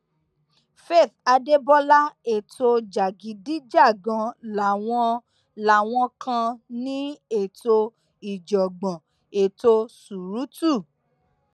faith adébọlá ètò jàgídíjàgan làwọn làwọn kan ní ètò ìjàngbọn ètò ṣùrùtù